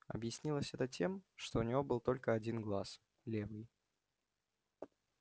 объяснялось это тем что у него был только один глаз левый